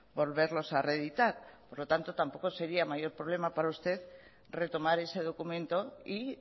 volverlos a reeditar por lo tanto tampoco sería mayor problema para usted retomar ese documento y